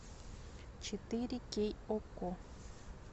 четыре кей окко